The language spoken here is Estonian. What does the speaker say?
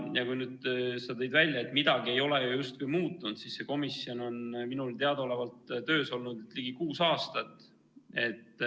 Ja kui sa tõid välja, et midagi ei ole justkui muutunud, siis see komisjon on minule teadaolevalt töös olnud ligi kuus aastat.